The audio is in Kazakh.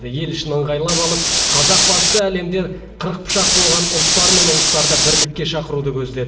ел ішін ыңғайлап алып қазақ басшысы әлемде қырық пышақ болған ұлттар мен ұлыстарды бірлікке шақыруды көздеді